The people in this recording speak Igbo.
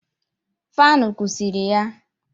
Faanụ kụsiri ya